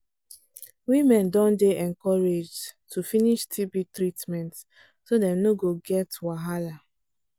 women don dey encouraged to finish tb treatment so dem no go get wahala